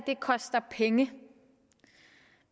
koster penge